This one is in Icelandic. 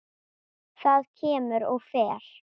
Það kemur og fer.